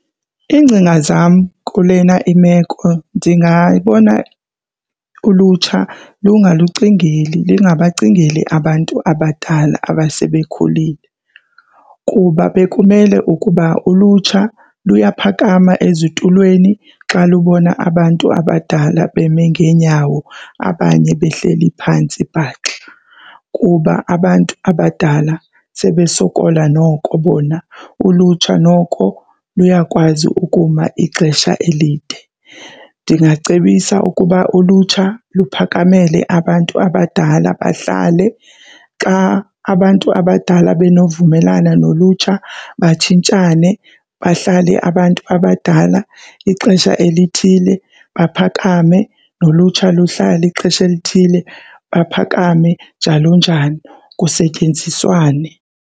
Iingcinga zam kulena imeko ndingayibona ulutsha lungalucingeli lungabacingeli abantu abadala abasebekhulile kuba bekumele ukuba ulutsha luyaphakama ezitulweni xa lubona abantu abadala beme ngeenyawo abanye behleli phantsi bhaxa. Kuba abantu abadala sebesokola noko bona, ulutsha noko luyakwazi ukuma ixesha elide. Ndingacebisa ukuba ulutsha luphakamele abantu abadala bahlale. Xa abantu abadala benovumelana nolutsha batshintshane. Bahlale abantu abadala ixesha elithile baphakame, nolutsha luhlala ixesha elithile baphakame, njalo njalo, kusetyenziswane.